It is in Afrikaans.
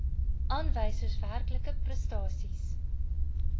aanwysers werklike prestasies